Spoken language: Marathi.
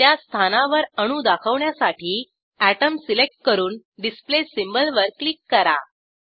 त्या स्थानावर अणू दाखवण्यासाठी अटोम सिलेक्ट करून डिस्प्ले सिम्बॉल वर क्लिक करा